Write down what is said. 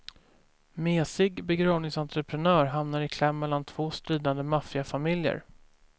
Mesig begravingsentreprenör hamnar i kläm mellan två stridande maffiafamiljer.